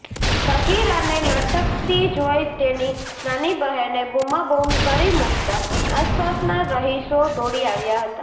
સગીરાને લટકતી જોઈ તેની નાની બહેને બૂમાબૂમ કરી મૂકતાં આસપાસના રહીશો દોડી આવ્યા હતા